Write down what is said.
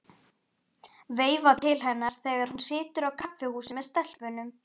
Veifa til hennar þegar hún situr á kaffihúsi með stelpunum.